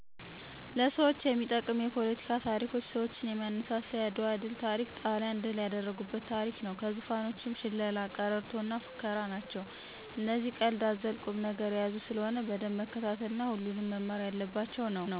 ለሰዎች የሚጠቅም የፓለቲካ ታሪኮች ሰዎችን የሚያነሳሳ የአድዋ ድል ታሪክ ጣሊያንን ድል ያደረጉበት ታሪክ ነው። ከዙፋኖችም ሽላላ፣ ቀረርቶ እና ፉከራ ናቸው እነዚህ ቀልድ አዘል ቁም ነገር የያዙ ስለሆነ በደንብ መከታተል እና ሁሉም መማር የለባቸው ነው